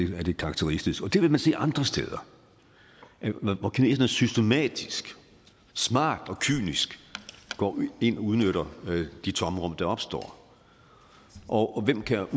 det karakteristisk og det vil man også se andre steder hvor kineserne systematisk smart og kynisk går ind og udnytter de tomrum der opstår og hvem kan